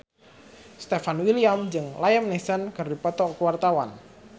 Stefan William jeung Liam Neeson keur dipoto ku wartawan